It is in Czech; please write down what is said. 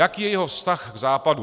Jaký je jeho vztah k Západu.